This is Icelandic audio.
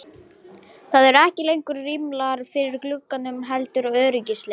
Það eru ekki lengur rimlar fyrir gluggunum heldur öryggisgler.